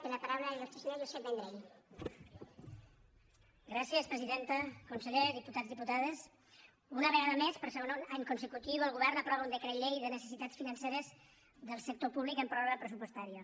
conseller diputats diputades una vegada més per segon any consecutiu el govern aprova un decret llei de necessitats financeres del sector públic en pròrroga pressupostària